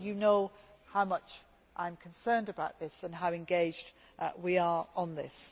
But you know how much I am concerned about this and how engaged we are on this.